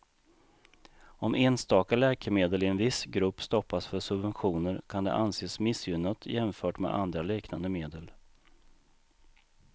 Om enstaka läkemedel i en viss grupp stoppas för subventioner kan det anses missgynnat jämfört med andra liknande medel.